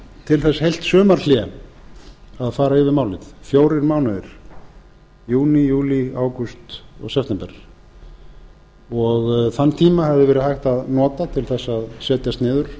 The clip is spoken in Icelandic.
til þess heilt sumarhlé að fara yfir málið fjórir mánuði júní júlí ágúst og september þann tíma hefði verið hægt að nota til þess að setjast niður